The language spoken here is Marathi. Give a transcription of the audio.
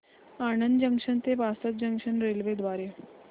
आणंद जंक्शन ते वासद जंक्शन रेल्वे द्वारे